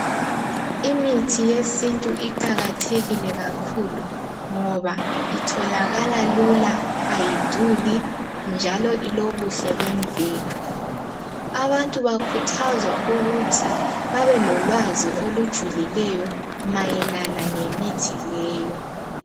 Imithi yesintu iqakathekile kakhulu ngoba itholakala lula ayiduli njalo ilobuhle bemvelo abantu bakhuthazwa ukuthi babelolwazi olujulileyo mayelana lemithi leyo